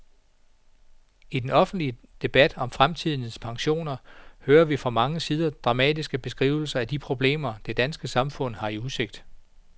I den offentlige debat om fremtidens pensioner hører vi fra mange sider dramatiske beskrivelser af de problemer, det danske samfund har i udsigt.